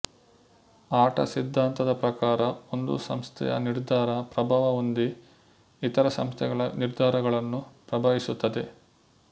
ಆಟ ಸಿದ್ಧಾಂತದ ಪ್ರಕಾರ ಒಂದು ಸಂಸ್ಥೆಯ ನಿರ್ಧಾರ ಪ್ರಭಾವ ಹೊಂದಿ ಇತರ ಸಂಸ್ಥೆಗಳ ನಿರ್ಧಾರಗಳನ್ನು ಪ್ರಭಾವಿಸುತ್ತದೆ